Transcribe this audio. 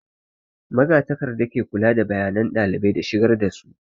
Magatakarda ke kula da bayanan ɗalibai da shigar da su